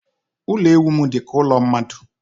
Ụlọ ewu m dịka ụlọ mmadụ.